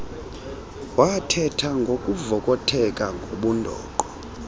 wathetha kwavokotheka ngobundoqo